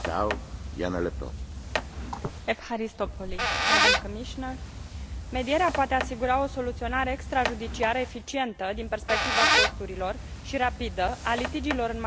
Medierea poate asigura o soluționare extrajudiciară eficientă din perspectiva costurilor și rapidă a litigiilor în materie civilă și comercială, prin intermediul unor proceduri adaptate nevoilor părților.